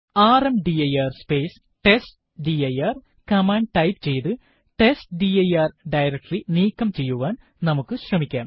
rmdir space testdir command type ചെയ്ത് testdir directory നീക്കം ചെയ്യുവാൻ നമുക്ക് ശ്രമിക്കാം